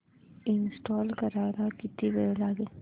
install करायला किती वेळ लागेल